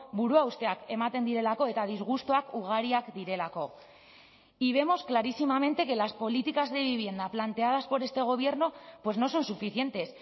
buruhausteak ematen direlako eta disgustuak ugariak direlako y vemos clarísimamente que las políticas de vivienda planteadas por este gobierno pues no son suficientes